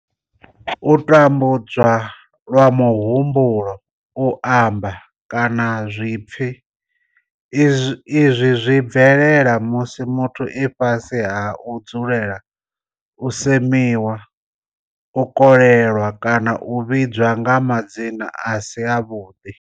U tambudzwa lwa muhumbulo, u amba, kana zwipfi, izwi zwi bvelela musi muthu e fhasi ha u dzulela u semiwa, u kolelwa kana u vhidzwa nga madzina a si avhuḓi.